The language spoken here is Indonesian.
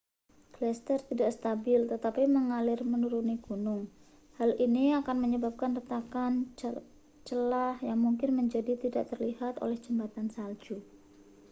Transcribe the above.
gletser tidak stabil tetapi mengalir menuruni gunung hal ini akan menyebabkan retakan celah yang mungkin menjadi tidak telihat oleh jembatan salju